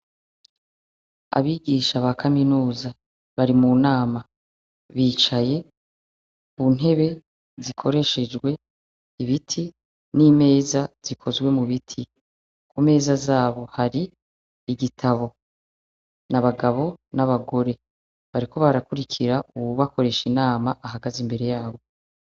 Abigisha ba kaminuza bari mu nama bicaye mu ntebe zikoreshejwe ibiti n'imeza zikozwe mu biti , ku meza zabo hari igitabo, ni abagabo n'abagore bariko barakurikira uwubakoresha inama ahagaze imbere yabo.